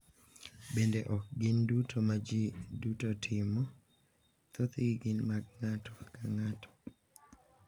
Bende ok gin duto ma ji duto timo: thothgi gin mag ng’ato ka ng’ato,